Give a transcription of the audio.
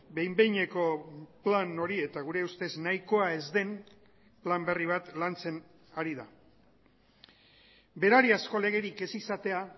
behin behineko plan hori eta gure ustez nahikoa ez den plan berri bat lantzen ari da berariazko legerik ez izatea